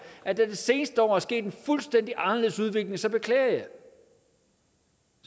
at der i det seneste år er sket en fuldstændig anderledes udvikling og så beklager jeg